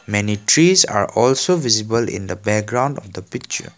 many trees are also visible in the background of the picture.